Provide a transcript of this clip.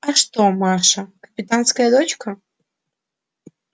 а что маша капитанская дочка